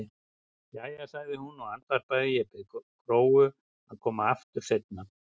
Jæja, sagði hún og andvarpaði, ég bið Gróu að koma aftur seinna.